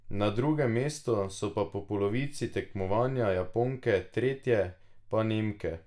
Na drugem mestu so po polovici tekmovanja Japonke, tretje pa Nemke.